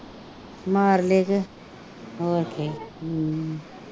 ਮਾਰਲੇ ਕੇ ਹੋਰ ਕੀ ਹਮ